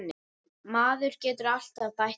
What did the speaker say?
Maður getur alltaf bætt það.